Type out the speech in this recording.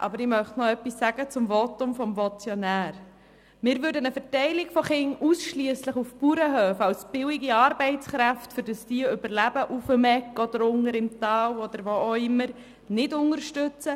Aber ich möchte noch etwas zum Votum des Motionärs sagen: Wir würden eine Verteilung von Kindern ausschliesslich auf Bauernhöfe als billige Arbeitskräfte nicht unterstützen, damit diejenigen auf der «Egg» oder unten im Tal oder wo auch immer überleben.